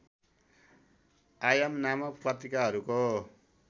आयाम नामक पत्रिकाहरूको